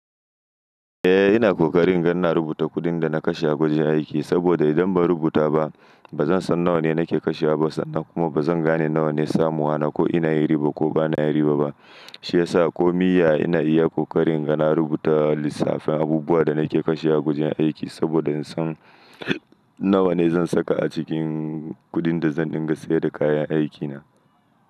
Eh ina kokarin ga na rubuta kuɗin da nake kashe a gurin aiki saboda idan ba rubuta ba bazan san nawa nake kashewa ba sannan kuma bazan gane nawa ne samuwa na ko ina yi riba ko bana yi riba ba. Shi yasa ko mai ya ina iya kokarin ga na rubuta lissafin abubuwan da nake kashewa a gurin aiki saboda in san nawa ne zan saka a cikin kuɗin da zan dinga sayar da kayan aikina.